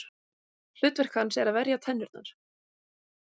Hlutverk hans er að verja tennurnar.